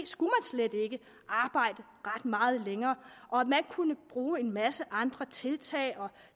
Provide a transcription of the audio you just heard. skulle arbejde ret meget længere og at man kunne bruge en masse andre tiltag og